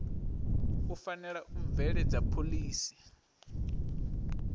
u fanela u bveledza phoḽisi